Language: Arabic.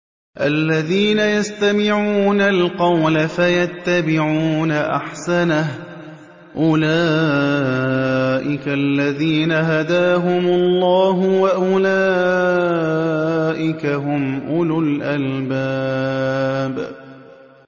الَّذِينَ يَسْتَمِعُونَ الْقَوْلَ فَيَتَّبِعُونَ أَحْسَنَهُ ۚ أُولَٰئِكَ الَّذِينَ هَدَاهُمُ اللَّهُ ۖ وَأُولَٰئِكَ هُمْ أُولُو الْأَلْبَابِ